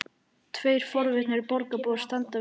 Tveir forvitnir borgarbúar standa við fánann.